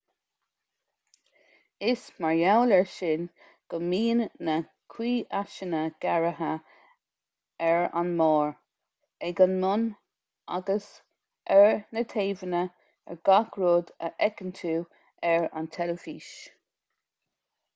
is mar gheall air sin go mbíonn na ciumhaiseanna gearrtha ar an mbarr ag an mbun agus ar na taobhanna ar gach rud a fheiceann tú ar tv